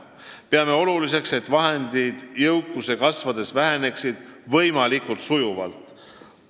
Peame aga oluliseks, et need vahendid jõukuse kasvades väheneksid võimalikult sujuvalt.